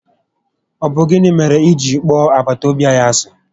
Ọ bụ gịnị mèrè ị ji kpọọ agbataobi anyị ási?